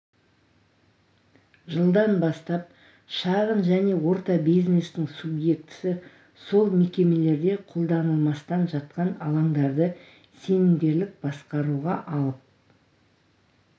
жылдан бастап шағын және орта бизнестің субъектісі сол мекемелерде қолданылмастан жатқан алаңдарды сенімгерлік басқаруға алып